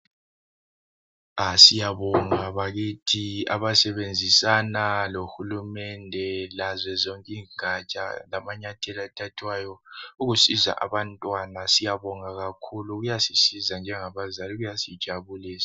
Siyabonga bakithi abasebenzisana lohulumende lazo zonke ingatsha lamanyathelo athathwayo ukusiza abantwana. Siyabonga kakhulu kuyasisiza njengabazali kuyasijabulisa.